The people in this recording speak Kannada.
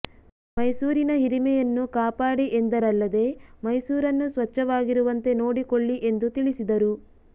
ಮೈಸೂರಿನ ಹಿರಿಮೆಯನ್ನು ಕಾಪಾಡಿ ಎಂದರಲ್ಲದೇ ಮೈಸೂರನ್ನು ಸ್ವಚ್ಛವಾಗಿರುವಂತೆ ನೋಡಿಕೊಳ್ಳಿ ಎಂದು ತಿಳಿಸಿದರು